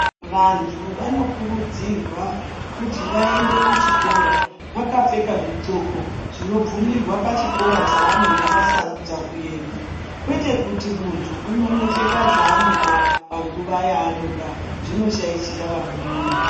Vantu vanokurudzirwa kuti vaende kuchikora, vakapfeka zvixoko zvinobvumirwa pachikora chavanenge vasarudza kuenda. Kwete kuti muntu unonopfeka zvanoda panguva yanoda, zvinoshaishira vamweni.